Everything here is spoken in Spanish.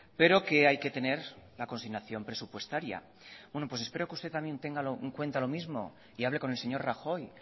pero que hay que tener la consignación presupuestaria pues espero que usted también tenga en cuenta lo mismo y hable con el señor rajoy